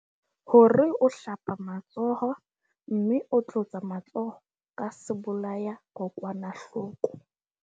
Hore o hlapa matsoho mme o tlotsa matsoho ka sebolayakokwanahloko.